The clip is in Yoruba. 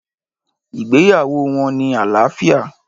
Ìgbéyàwó wọn ní àlàáfíà